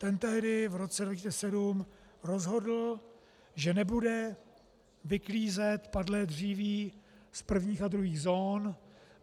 Ten tehdy v roce 2007 rozhodl, že nebude vyklízet padlé dříví z prvních a druhých zón.